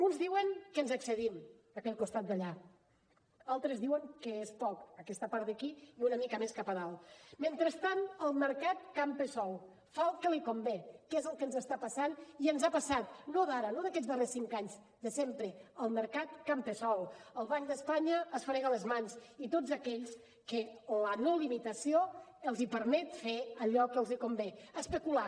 uns diuen que ens excedim aquell costat d’allà altres diuen que és poc aquesta part d’aquí i una mica més cap a dalt mentrestant el mercat campa sol fa el que li convé que és el que ens està passant i ens ha passat no d’ara no d’aquests darrers cinc anys de sempre el mercat campa sol el banc d’espanya es frega les mans i tots aquells que la no limitació els permet fer allò que els convé especular